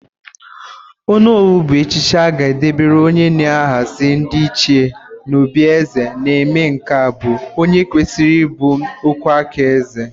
Ónówù bụ echichi a ga-debere onye na-ahazi ndị ịchie n'òbí eze na-eme nke bụ onye kwesịrị ịbụ ọkwụáká eze.